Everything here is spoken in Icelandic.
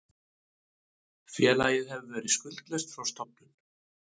Félagið hefur verið skuldlaust frá stofnun